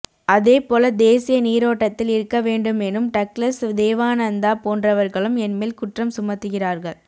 அதேபோல தேசிய நீரோட்டத்தில் இருக்க வேண்டுமெனும் டக்ளஸ் தேவானந்தா போன்றவர்களும் என் மேல் குற்றம் சுமத்துகிறார்கள்